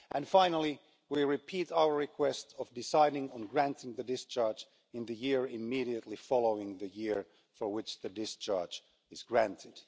Finally, we repeat our request of deciding on granting the discharge in the year immediately following the year for which the discharge is granted.